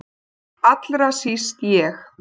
Allra síst ég!